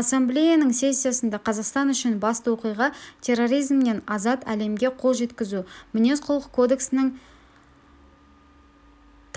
ассамблеяның сессиясында қазақстан үшін басты оқиға терроризмнен азат әлемге қол жеткізу мінез-құлық кодексінің